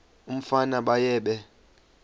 umfana baye bee